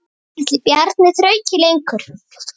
Ætli Bjarni þrauki lengur?